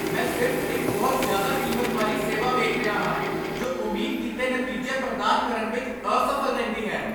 ਮੈਂ ਸਿਰਫ਼ ਇੱਕ ਬਹੁਤ ਜ਼ਿਆਦਾ ਕੀਮਤ ਵਾਲੀ ਸੇਵਾ ਵੇਖ ਰਿਹਾ ਹਾਂ ਜੋ ਉਮੀਦ ਕੀਤੇ ਨਤੀਜੇ ਪ੍ਰਦਾਨ ਕਰਨ ਵਿੱਚ ਅਸਫ਼ਲ ਰਹਿੰਦੀ ਹੈ।